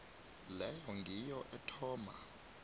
leyo ngiyo ethoma